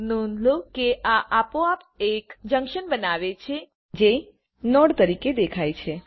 નોંધ લો કે આ આપોઆપ એક જંક્શન બનાવે છે જે નોડ તરીકે દેખાય છે